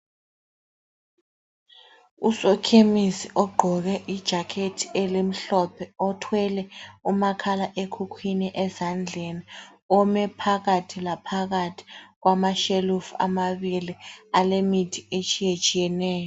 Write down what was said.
Usokhemisi ogqoke ijakhethi elimhlophe othwele umakhala ekhukhwini ezandleni ome phakathi laphakathi kwamashelufu amabili alemithi etshiyetshiyeneyo.